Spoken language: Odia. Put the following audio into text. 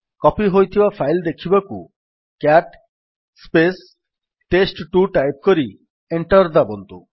କପୀ ହୋଇଥିବା ଫାଇଲ୍ ଦେଖିବାକୁ ସିଏଟି ଟେଷ୍ଟ2 ଟାଇପ୍ କରି ଏଣ୍ଟର୍ ଦାବନ୍ତୁ